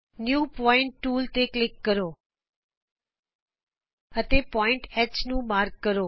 new point tool ਤੇ click ਕਰੋ ਅਤੇ ਬਿੰਦੂ H ਨੂੰ ਚਿੰਨ੍ਹਿਤ ਕਰੋ